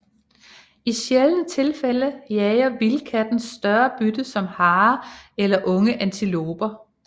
I sjældne tilfælde jager vildkatten større bytte som harer eller unge antiloper